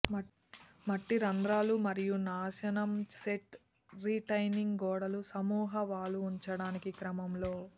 మట్టి రంధ్రాలు మరియు నాశనం సెట్ రిటైనింగ్ గోడలు సమూహ వాలు ఉంచడానికి క్రమంలో